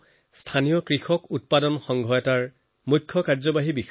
তেওঁ এটা কৃষক উৎপাদক সংঘৰ চিইঅ